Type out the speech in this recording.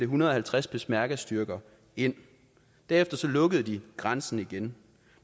hundrede og halvtreds peshmergastyrker ind derefter lukkede de grænsen igen